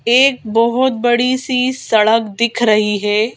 एक बहुत बड़ी सी सड़क दिख रही है।